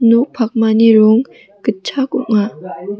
nok pakmani rong gitchak ong·a.